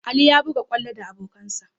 Ali ya buga kwallo da abokansa.